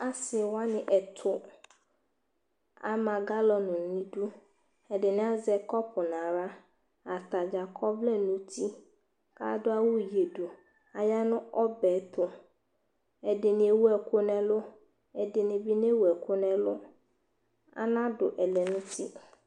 Asɩ wanɩ ɛtʋ ama galɔn nʋ idu Ɛdɩnɩ azɛ kɔpʋ nʋ aɣla Ata dza akɔ ɔvlɛ nʋ uti kʋ adʋ awʋ yǝdu Aya nʋ ɔbɛ tʋ Ɛdɩnɩ ewu ɛkʋ nʋ ɛlʋ, ɛdɩnɩ bɩ newu ɛkʋ nʋ ɛlʋ Anadʋ ɛlɛnʋti